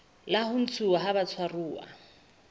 la ho ntshuwa ha batshwaruwa